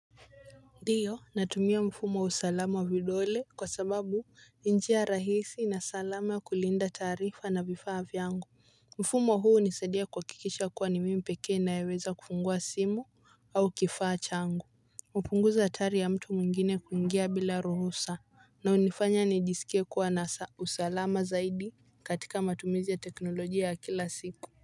Ndiyo natumia mfumo wa usalama wa vidole kwa sababu ni njia rahisi na salama ya kulinda taarifa na vifaa vyangu. Mfumo huu hunisaidia kuhakikisha kuwa ni mimi peke ninayeweza kufungua simu au kifaa changu. Hupunguza hatari ya mtu mwingine kuingia bila ruhusa. Na hunifanya nijisikie kuwa na usalama zaidi katika matumizi ya teknolojia ya kila siku.